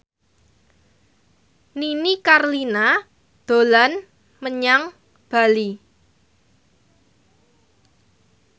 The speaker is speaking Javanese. Nini Carlina dolan menyang Bali